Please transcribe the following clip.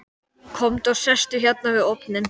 Komdu og sestu hérna við ofninn.